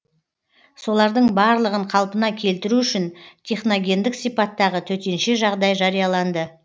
солардың барлығын қалпына келтіру үшін техногендік сипаттағы төтенше жағдай жарияланды